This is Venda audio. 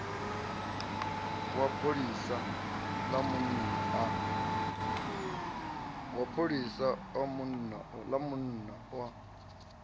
wa pholisa ḽa munna a